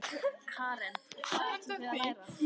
Karen: Og hvað ætlið þið að læra?